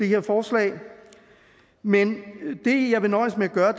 her forslag men det jeg vil nøjes med at gøre